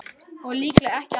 Og líklega ekki allra.